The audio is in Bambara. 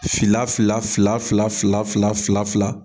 Fila fila fila fila fila fila fila fila